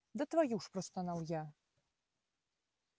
да твою ж простонал я